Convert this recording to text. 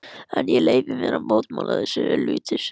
En ég leyfi mér að mótmæla þessu.